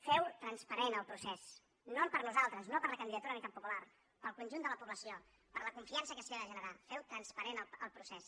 feu transparent el procés no per nosaltres no per la candidatura d’unitat popular pel conjunt de la població per la confiança que s’hi ha de generar feu transparent el procés